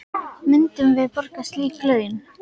Myndum við borga slík laun?